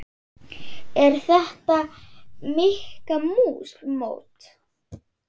Er þetta Mikka mús mót?